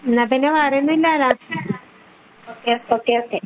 എന്നാൽപ്പിന്നെ വേറൊന്നും ഇല്ലല്ലോ okay okay